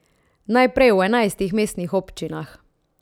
Najprej v enajstih mestnih občinah.